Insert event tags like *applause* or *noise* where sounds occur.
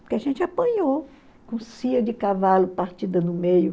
Porque a gente apanhou com *unintelligible* de cavalo partida no meio.